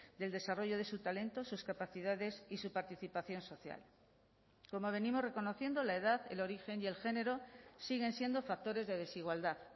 del desarrollo de su talento sus capacidades y su participación social como venimos reconociendo la edad el origen y el género siguen siendo factores de desigualdad